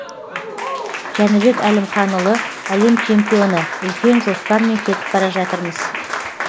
жәнібек әлімханұлы әлем чемпионы үлкен жоспармен кетіп бара жатырмыз